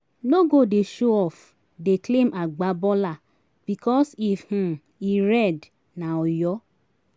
no go dey show-off dey claim agba baller bikos if um e red na oyo